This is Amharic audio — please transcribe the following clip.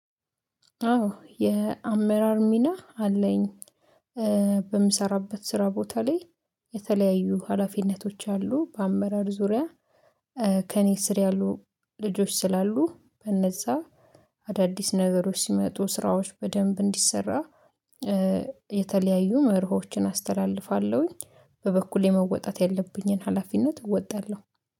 አዎ የአመራር ሚና አለኝ። በምሰራበት ስራ ቦታ ላይ የተለያዩ ሀላፊነቶች አሉ በአመራር ዙሪያ። ከእኔ ስር ያሉ ልጆች ስላሉ በነዛ አዳዲስ ነገሮች ሲመጡ ስራዎች በደንብ እንዲሰራ። የተለያዩ መርሆችን አስተላልፋለሁኝ በበኩሌ መወጣት ያለብኝን ሀላፊነት እወጣለሁ